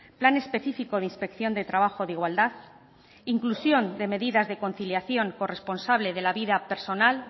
plan específico de inspección de trabajo de igualdad inclusión de medidas de conciliación corresponsable de la vida personal